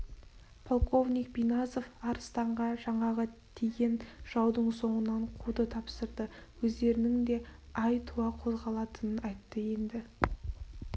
полковник бизанов арыстанға жаңағы тиген жаудың соңынан қууды тапсырды өздерінің де ай туа қозғалатынын айтты енді